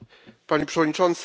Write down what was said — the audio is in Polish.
Panie Przewodniczący!